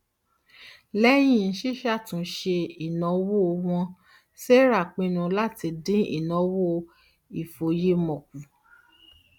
lẹyìn ṣíṣàtúnyẹwò ìnáwó wọn sarah pinnu láti dín ináwó ìfòyemọ kù